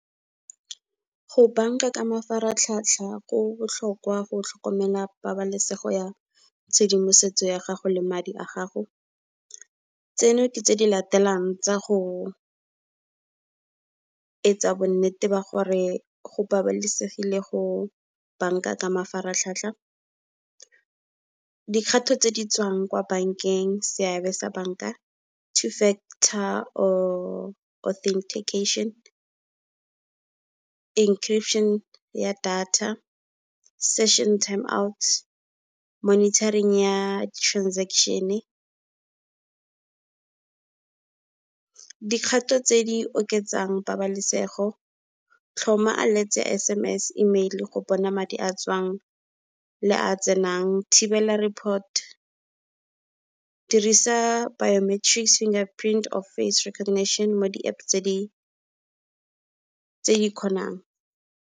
Go bank-a ka mafaratlhatlha go botlhokwa go tlhokomela pabalesego ya tshedimosetso ya gago le madi a gago. Tseno ke tse di latelang tsa go e tsa bo nnete ba gore go babalesegile go bank-a ka mafaratlhatlha. Dikgato tse di tswang kwa bank-eng seabe sa bank-a two-factor authentication, encryption ya data, session time out, monitoring ya di-transaction-e. Dikgato tse di oketsang pabalesego, tlhoma alerts, S_M_S, Email go bona madi a a tswang le a a tsenang. Thibela report, dirisa biometrics finger print or face recognition mo di-App tse di kgonang.